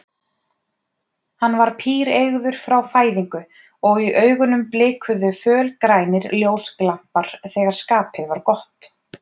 Hann var píreygður frá fæðingu og í augunum blikuðu fölgrænir ljósglampar þegar skapið var gott.